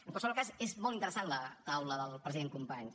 en qualsevol cas és molt interessant la taula del president companys